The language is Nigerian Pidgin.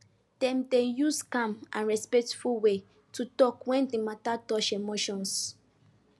dem dey use calm and respectful way to talk when the matter touch emotions